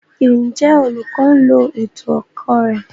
Njẹ olukọ lo ètò ẹkọ rẹ?